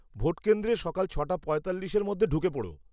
Vote কেন্দ্রে সকাল ছ'টা পঁয়তাল্লিশের মধ্যে ঢুকে পোড়ো।